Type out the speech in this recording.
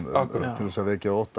til að vekja ótta